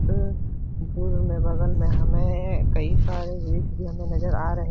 अ में बगल में हमे कई सारे वृक्ष भी हमें नज़र आ रहे --